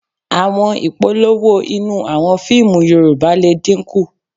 À̀wọn ìpolówó inú àwọn fíìmù Yorùbá lè dínkù